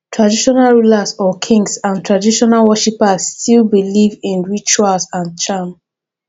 traditional rulers or kings and traditional worshippers still believe in rituals and charm